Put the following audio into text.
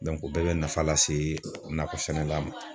Dɔnke o bɛɛ be nafa lase nakɔ sɛnɛla ma